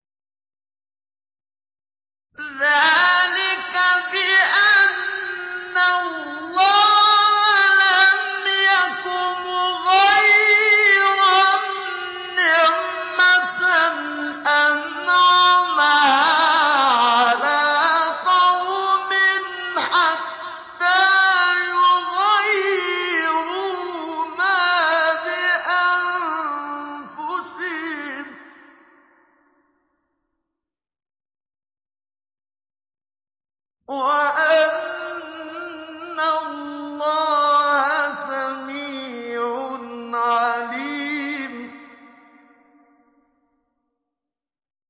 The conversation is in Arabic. ذَٰلِكَ بِأَنَّ اللَّهَ لَمْ يَكُ مُغَيِّرًا نِّعْمَةً أَنْعَمَهَا عَلَىٰ قَوْمٍ حَتَّىٰ يُغَيِّرُوا مَا بِأَنفُسِهِمْ ۙ وَأَنَّ اللَّهَ سَمِيعٌ عَلِيمٌ